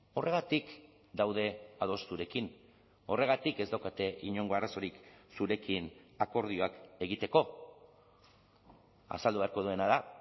horregatik daude ados zurekin horregatik ez daukate inongo arazorik zurekin akordioak egiteko azaldu beharko duena da